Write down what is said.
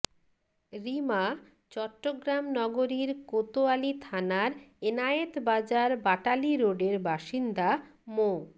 রীমা চট্টগ্রাম নগরীর কোতয়ালি থানার এনায়েত বাজার বাটালি রোডের বাসিন্দা মো